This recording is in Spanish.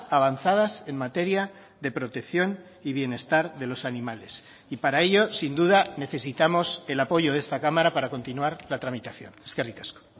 avanzadas en materia de protección y bienestar de los animales y para ello sin duda necesitamos el apoyo de esta cámara para continuar la tramitación eskerrik asko